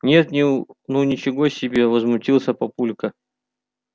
нет ну ничего себе возмутился папулька